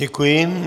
Děkuji.